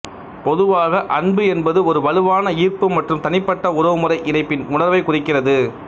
பொதுவாக அன்பு என்பது ஒரு வலுவான ஈர்ப்பு மற்றும் தனிப்பட்ட உறவுமுறை இணைப்பின் உணர்வைக் குறிக்கிறது